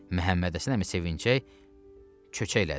Məhəmməd Həsən əmi sevinçək çöçək elədi.